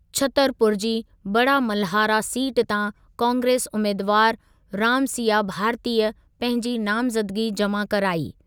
छतरपुर जी बड़ामलहारा सीट तां कांग्रेस उमेदवारु रामसिया भारतीअ पंहिंजी नामज़दगी जमा कराई।